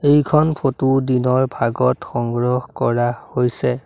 এইখন ফটো দিনৰ ভাগত সংগ্ৰহ কৰা হৈছে।